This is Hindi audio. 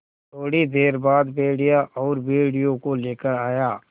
थोड़ी देर बाद भेड़िया और भेड़ियों को लेकर आया